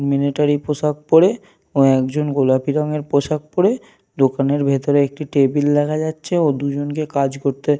Military পোশাক পরে ও একজন গোলাপি রঙের পোশাক পরে। দোকানের ভেতরে একটি টেবিল দেখা যাচ্ছে ও দুজনকে কাজ করতে --